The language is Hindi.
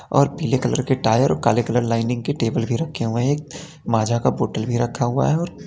और पीले कलर के टायर और काले कलर लाइनिंग के टेबल भी रखे हुए हैं एक माजा का बॉटल भी रखा हुआ है और --